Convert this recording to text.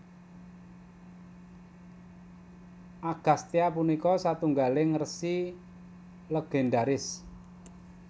Agastya punika satunggaling resi légendharis